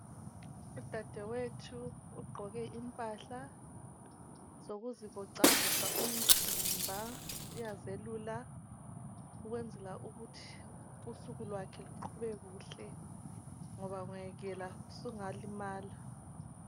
Udadewethu ugqoke impahla zokuzivoxaxoxa umzimba. Uyazelula ukwenzela ukuthi usuku kwakhe luqhube kuhle ngoba ungayekela usungalimala.